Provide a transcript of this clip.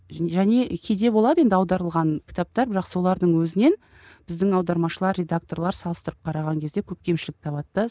және кейде болады енді аударылған кітаптар бірақ солардың өзінен біздің аудармашылар редакторлар салыстырып қараған кезде көп кемшілік табады да